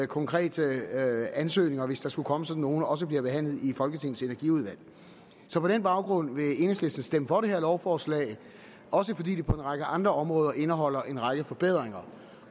konkrete ansøgninger hvis der skulle komme sådan nogle også bliver behandlet i folketingets energiudvalg så på den baggrund vil enhedslisten stemme for det her lovforslag også fordi det på en række andre områder indeholder en række forbedringer